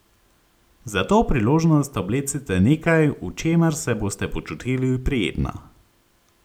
Za to priložnost oblecite nekaj, v čemer se boste počutili prijetno.